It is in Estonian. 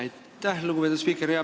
Aitäh, lugupeetud spiiker!